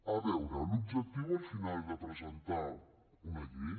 a veure l’objectiu al final de presentar una llei